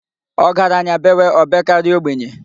Ọgaranya bewe, o bekarịa ogbenye.